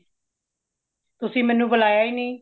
ਤੁਸੀਂ ਮੇਨੂ ਬੁਲਾਇਆ ਹੀ ਨਹੀਂ